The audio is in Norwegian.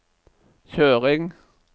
kjøring